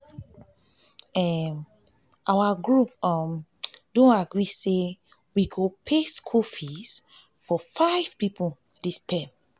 our group don agree say we go pay school fees for five people dis term